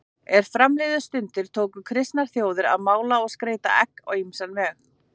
Er fram liðu stundir tóku kristnar þjóðir að mála og skreyta egg á ýmsan veg.